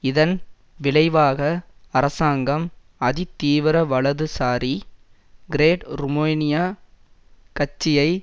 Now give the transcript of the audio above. இதன் விளைவாக அரசாங்கம் அதிதீவிரவலதுசாரி கிரேட் ருமேனியா கட்சியை